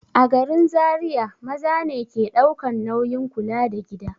A garin Zariya maza ne ke ɗaukan nauyin kula da gida.